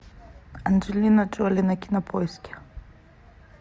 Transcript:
анджелина джоли на кинопоиске